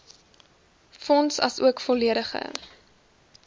fonds asook volledige